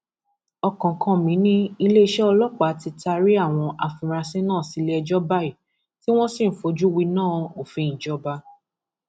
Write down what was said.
ọkánkánmí ni iléeṣẹ ọlọpàá ti taari àwọn afurasí náà sílẹẹjọ báyìí tí wọn sì ń fojú winá òfin ìjọba